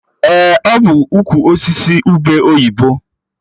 Ee, ọ bụ ukwu osisi ube oyibo